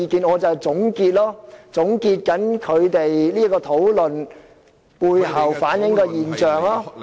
我現在便是要總結委員的討論所反映的現象。